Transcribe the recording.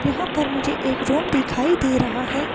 यहां पर मुझे एक रूम दिखाई दे रहा है।